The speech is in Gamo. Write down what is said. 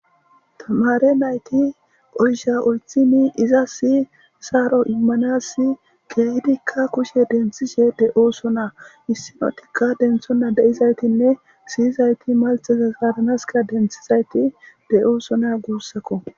tamare nayti oysha oythini iza siyi saaro immanasi keehdikka kushe denthishe de7ooso naa issinotikka denthonna de7izaytinne siyizayti malxeza zaadanaska denthizayti de7ooso naa guussakko